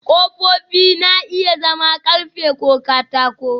Ƙofofi na iya zama ƙarfe ko katako